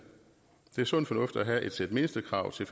det er sund fornuft at have et sæt mindstekrav som